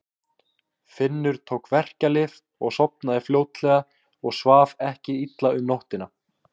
Finnur tók verkjalyf og sofnaði fljótlega og svaf ekki illa um nóttina.